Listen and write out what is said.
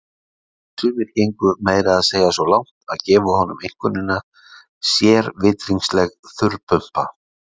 Sumir gengu meira að segja svo langt að gefa honum einkunnina sérvitringsleg þurrpumpa.